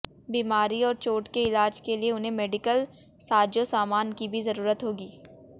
बीमारी और चोट के इलाज के लिए उन्हें मेडिकल साजोसामान की भी जरूरत होगी